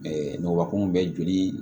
Ɛɛ nɔg bɛ joli